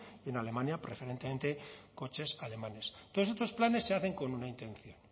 y en alemania preferentemente coches alemanes todos estos planes se hacen con una intención